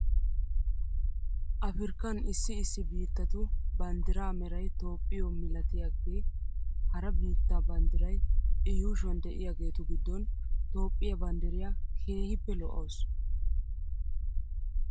Afriikkan issi issi biittatu banddiraa meray toophphiyoo milatiyaagee hara biittaa banddiray i yuushuwan de'iyaageetu giddon toophphiayaa banddiriyaa keehippe lo'awus .